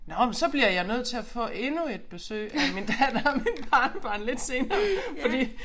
Nåh men så bliver jeg nødt til at få endnu et besøg af min datter og mit barnebarn lidt senere fordi